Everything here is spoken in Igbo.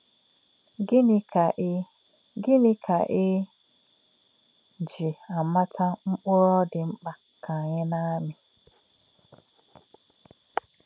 Gịnị̄ kā̄ è Gịnị̄ kā̄ è jì̄ àmà̄tà̄ mkpụ̀rụ́ ọ́ dì̄ m̀kpá̄ kā̄ ànyí̄ nā̄-àmī̄?